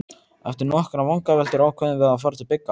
Eftir nokkrar vangaveltur ákváðum við að fara til Bigga.